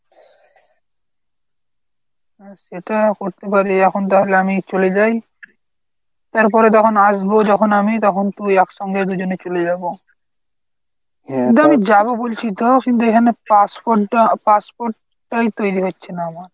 হ্যাঁ সেটা করতে পারি এখন তাহলে আমি চলে যাই তারপরে যখন আসব যখন আমি তখন তুই একসঙ্গে দুজনে চলে যাব। যাব বলছি তো কিন্তু এখানে passport টা passport টাই তৈরি হচ্ছে না আমার।